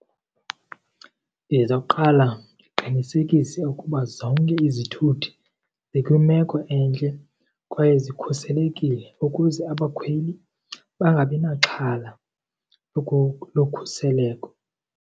Ndizawuqala ndiqinisekise ukuba zonke izithuthi zikwimeko entle kwaye zikhuselekile ukuze abakhweli bangabi naxhala lokhuseleko.